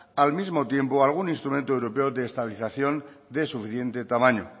al mismo tiempo algún instrumento europeo de estabilización de suficiente tamaño